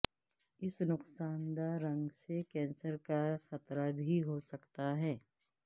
اس نقصان دہ رنگ سے کینسر کا خطرہ بھی ہو سکتا ہے